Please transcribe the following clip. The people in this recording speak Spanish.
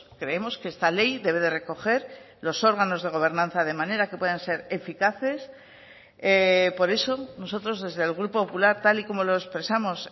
creemos que esta ley debe de recoger los órganos de gobernanza de manera que puedan ser eficaces por eso nosotros desde el grupo popular tal y como lo expresamos